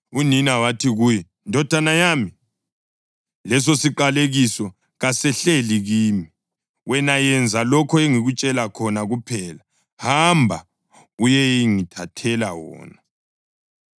Unina wathi kuye, “Ndodana yami, lesosiqalekiso kasehlele kimi. Wena yenza lokho engikutshela khona kuphela; hamba uyengithathela wona.”